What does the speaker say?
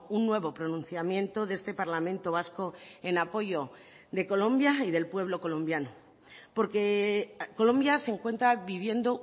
un nuevo pronunciamiento de este parlamento vasco en apoyo de colombia y del pueblo colombiano porque colombia se encuentra viviendo